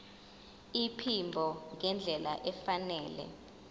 iphimbo ngendlela efanele